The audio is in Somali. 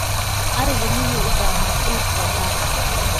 ariga miyuu u baahan quud oo gar ah